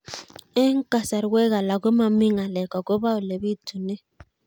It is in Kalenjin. Eng' kasarwek alak ko mami ng'alek akopo ole pitunee